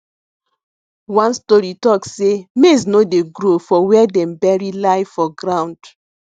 one story talk sey maize no dey grow for where dem bury lie for ground